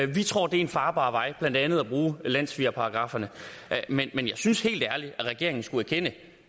vi tror det er en farbar vej blandt andet at bruge landssvigerparagrafferne men jeg synes helt ærligt at regeringen skulle erkende